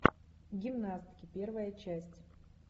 гимнастки первая часть